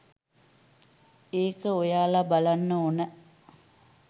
එක ඔයාලා බලන්න ඔන